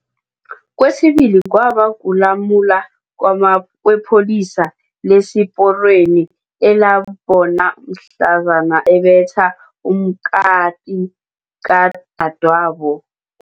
Kwesibili kwaba kulamula kwepholisa lesiporweni elambona mhlazana abetha umkati kadadwabo